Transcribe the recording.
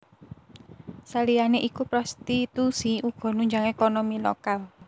Saliyané iku prostitusi uga nunjang ékonomi lokal